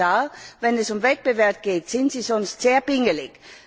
Herr Kommissar, wenn es um Wettbewerb geht, sind Sie sonst sehr pingelig.